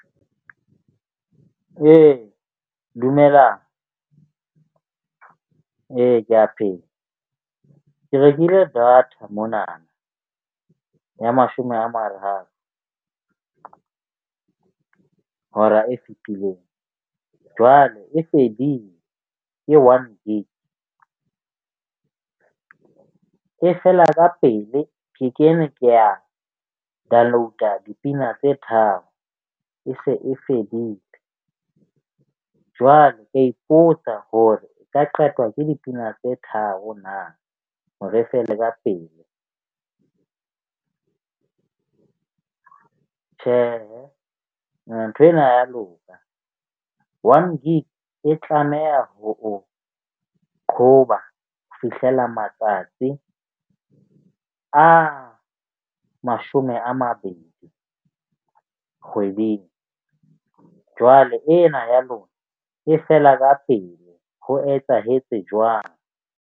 Ee dumelang ee, ke a pheha ke rekile data mona ya mashome a mararo hora e fetileng. Jwale e fedile ke one gig. E fela ka pele ke kene ke a download-a pina tse tharo e se e fedile. Jwalo, ka ipotsa hore e ka qetwa ke dipina tse tharo na hore e fele ka pele? Tjhehe ya loka. One gig e tlameha ho re qhoba ho fihlella matsatsi a mashome a mabedi kgweding jwale ena ya lona e fela ka pele ho etsahetse jwang?